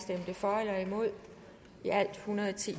for eller imod